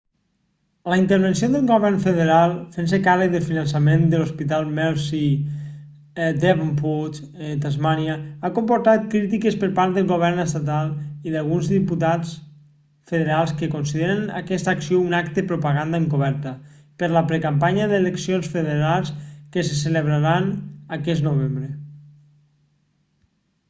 la intervenció del govern federal fent-se càrrec del finançament de l'hospital mersey a devonport tasmània ha comportat crítiques per part del govern estatal i d'alguns diputats federals que consideren aquesta acció un acte propaganda encoberta per la precampanya de les eleccions federals que se celebraran aquest novembre